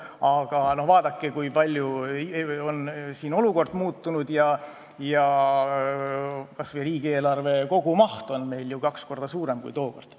Aga vaadake, kui palju on olukord muutunud, kas või riigieelarve kogumaht on meil ju kaks korda suurem kui tookord.